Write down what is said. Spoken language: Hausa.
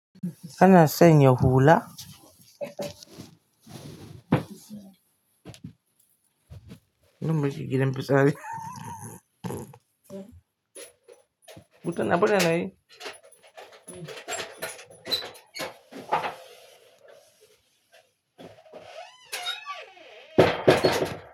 Kana sanya hula? Nan muke gidan fitsari? Mutum na baya na yi.